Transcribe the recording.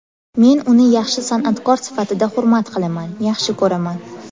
Men uni yaxshi san’atkor sifatida hurmat qilaman, yaxshi ko‘raman.